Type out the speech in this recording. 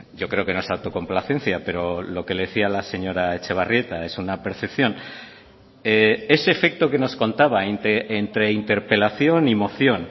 yo creo que no es autocomplacencia pero lo que le decía a la señora etxebarrieta es una percepción ese efecto que nos contaba entre interpelación y moción